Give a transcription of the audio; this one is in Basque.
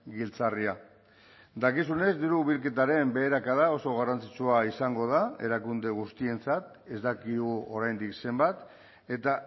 giltzarria dakizunez diru bilketaren beherakada oso garrantzitsua izango da erakunde guztientzat ez dakigu oraindik zenbat eta